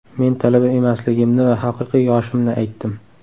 Men talaba emasligimni va haqiqiy yoshimni aytdim.